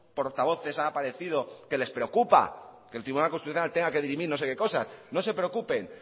portavoces han aparecido que les preocupa que el tribunal constitucional tenga que dirimir no sé qué cosas no se preocupen